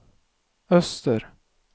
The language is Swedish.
öster